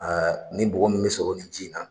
nin bɔgɔ min bɛ sɔrɔ ni ji in na.